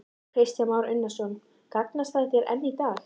Kristján Már Unnarsson: Gagnast þær enn í dag?